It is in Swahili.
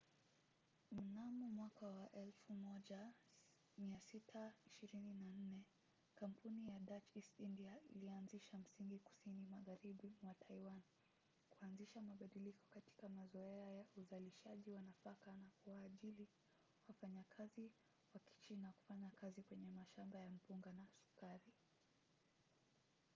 mnamo 1624 kampuni ya dutch east india ilianzisha msingi kusini magharibi mwa taiwan kuanzisha mabadiliko katika mazoea ya uzalishaji wa nafaka na kuwaajili wafanyakazi wa kichina kufanya kazi kwenye mashamba ya mpunga na sukari